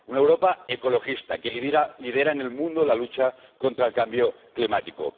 Una Europa ecologista que lidera en el mundo la lucha contra el cambio climático.